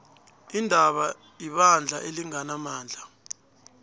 iindaba ibandla elinganamandla